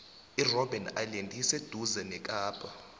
irobben island iseduze nakapa